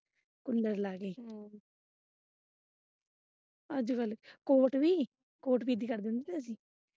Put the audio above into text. Cooler ਲਗਾ ਕੇ ਅੱਜ ਕੱਲ ਕੋਟ ਵੀ ਕੋਟ ਗਿੱਲੀ ਕਰ ਦਿੰਦੇ।